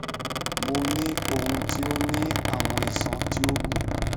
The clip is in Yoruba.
mo ni ohun ti o ni awọn iṣan ti o gun